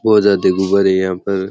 बहुत ज्यादा गुब्बारे है यहा पर।